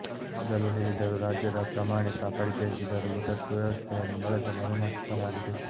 ಮೊದಲು ಹೇಳಿದರು ರಾಜ್ಯದ ಪ್ರಮಾಣಿತ ಪರಿಚಯಿಸಿದರು ದತ್ತು ವ್ಯವಸ್ಥೆಯನ್ನು ಬಳಸಲು ಅನುಮತಿಸಲಾಗಿದೆ